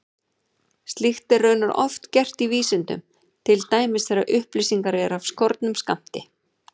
Slíkt er raunar oft gert í vísindum, til dæmis þegar upplýsingar eru af skornum skammti.